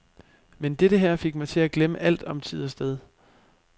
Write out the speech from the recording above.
Men dette her fik mig til at glemme alt om tid og sted.